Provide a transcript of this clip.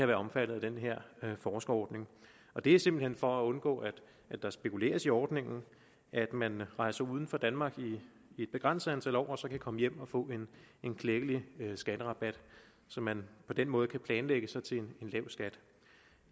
være omfattet af den her forskerordning det er simpelt hen for at undgå at der spekuleres i ordningen at man rejser ud af danmark i et begrænset antal år og så kan komme hjem og få en klækkelig skatterabat så man på den måde kan planlægge sig til en lav skat